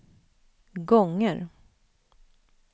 gånger